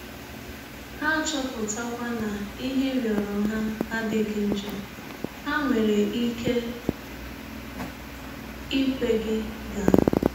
Ha chọpụtakwa na ihe ị rịọrọ ha adịghị njọ, ha nwere ike ikwe gị gaa.